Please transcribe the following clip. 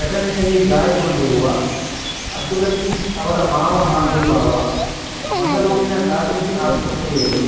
ಘಟನೆಯಲ್ಲಿ ಗಾಯಗೊಂಡಿರುವ ಅಬ್ದುಲ್ ಲತೀಫ್ ಅವರ ಮಾವ ಹಾಗೂ ಬಾವ ಮಂಗಳೂರಿನ ಖಾಸಗೀ ಆಸ್ಪತ್ರೆಯಲ್ಲಿ